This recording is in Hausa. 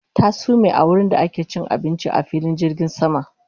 Ta sume a wurinda ake cin abinci a filin jirgin sama